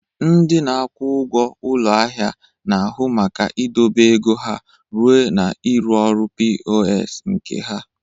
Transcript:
Ndị na-akwụ ụgwọ ụlọ ahịa na-ahụ maka idobe ego ha ruo na ịrụ ọrụ POS nke ha.